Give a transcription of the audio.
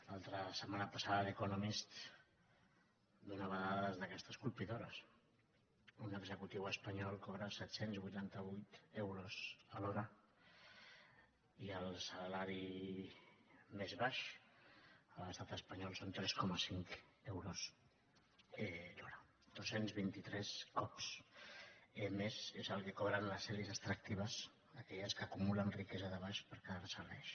la set·mana passada the economist donava dades d’aquestes colpidores un executiu espanyol cobra set cents i vuitanta vuit euros l’ho·ra i el salari més baix a l’estat espanyol són tres coma cinc euros l’hora dos cents i vint tres cops més és el que cobren les elits extrac·tives aquelles que acumulen riquesa de baix per que·dar·se·la ells